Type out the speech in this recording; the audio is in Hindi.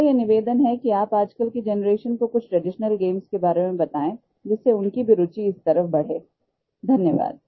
मेरा ये निवेदन है कि आप आजकल की जनरेशन को कुछ ट्रेडिशनल गेम्स के बारे में बताएं जिससे उनकी भी रूचि इस तरफ़ बढ़े धन्यवाद